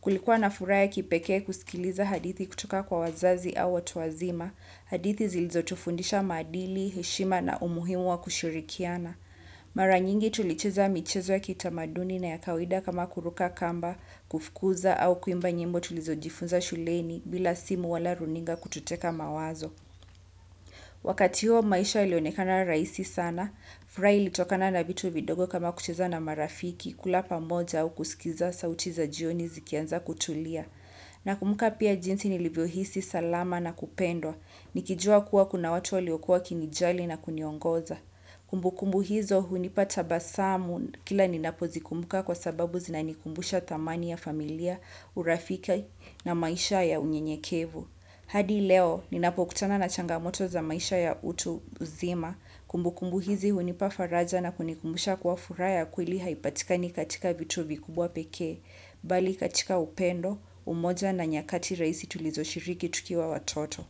Kulikuwa na furaha ya kipekee kusikiliza hadithi kutoka kwa wazazi au watu wazima, hadithi zilizo tufundisha maadili, heshima na umuhimu wa kushirikiana. Mara nyingi tulicheza michezo ya kitamaduni na ya kawaida kama kuruka kamba kufkuza au kuimba nyimbo tulizojifunza shuleni bila simu au runinga kututeka mawazo. Wakati huo maisha ilionekana rahisi sana, fruraha ilitokana na vitu vidogo kama kucheza na marafiki kula pamoja au kusikiza sauti za jioni zikianza kutulia. Na kumbuka pia jinsi nilivyo hisi salama na kupendwa, nikijua kuwa kuna watu waliokuwa wakinijali na kuniongoza. Kumbu kumbu hizo hunipa tabasamu kila ninapo zikumbuka kwa sababu zinanikumbusha thamani ya familia, urafiki na maisha ya unyenyekevu. Hadi leo ninapo kutana na changamoto za maisha ya utu zima, kumbu kumbu hizi hunipa faraja na kunikumbusha kuwa furaha ya kweli haipatikani katika vitu vikubwa pekee, bali katika upendo, umoja na nyakati rahisi tulizo shiriki tukiwa watoto.